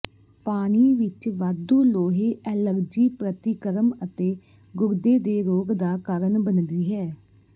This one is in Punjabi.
ਪਾਣੀ ਵਿਚ ਵਾਧੂ ਲੋਹੇ ਐਲਰਜੀ ਪ੍ਰਤੀਕਰਮ ਅਤੇ ਗੁਰਦੇ ਦੇ ਰੋਗ ਦਾ ਕਾਰਨ ਬਣਦੀ ਹੈ